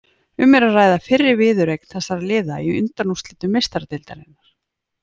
Um er að ræða fyrri viðureign þessara liða í undanúrslitum Meistaradeildarinnar.